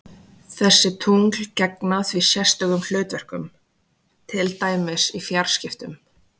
Þessi tungl gegna því sérstökum hlutverkum, til dæmis í fjarskiptum.